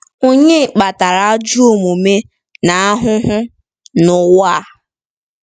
Ònye kpatara ajọ omume na ahụhụ n’ụwa a?